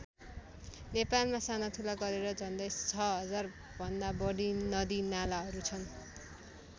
नेपालमा साना ठुला गरेर झन्डै ६००० भन्दा बढी नदीनालाहरू छन्।